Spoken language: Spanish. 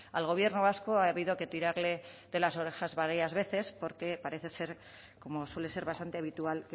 al gobierno vasco ha habido que tirarle de las orejas varias veces porque parece ser como suele ser bastante habitual